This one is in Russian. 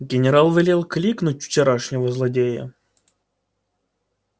генерал велел кликнуть вчерашнего злодея